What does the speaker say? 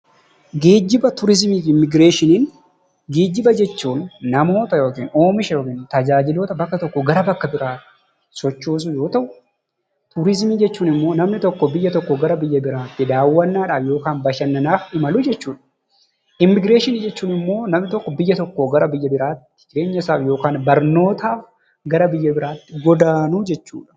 Geejjiba, Turizimii fi Immigireeshiniin geejjiba jechuun namoota yookiin oomisha yookiin tajaajiloota bakka tokkoo gara bakka biraatti sochoosuu yoo ta'u, turizimii jechuun immoo namni tokko biyya tokkoo gara biyya biraatti daawwannaadhaaf yookaan bashannanaaf imaluu jechuudha. Immigireeshinii jechuun immoo namni tokko biyya tokkoo gara biyya biraatti jireenya isaa yookaan ammoo barnootaaf gara biyya biraatti godaanuu jechuudha.